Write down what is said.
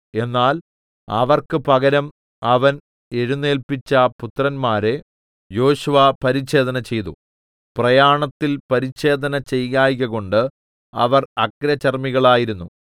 എന്നാൽ അവർക്ക് പകരം അവൻ എഴുന്നേല്പിച്ച പുത്രന്മാരെ യോശുവ പരിച്ഛേദന ചെയ്തു പ്രയാണത്തിൽ പരിച്ഛേദന ചെയ്യായ്കകൊണ്ട് അവർ അഗ്രചർമ്മികളായിരുന്നു